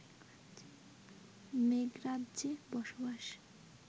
মেঘরাজ্যে বসবাস